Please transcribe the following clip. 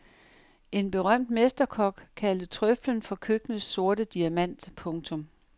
En berømt mesterkok kaldte trøflen for køkkenets sorte diamant. punktum